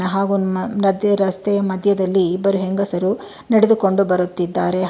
ಹಾಗು ನ ನದಿ ರಸ್ತೆ ಮಧ್ಯದಲ್ಲಿ ಇಬ್ಬರು ಹೆಂಗಸರು ನಡೆದುಕೊಂಡು ಬರುತ್ತಿದ್ದಾರೆ.